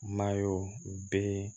be yen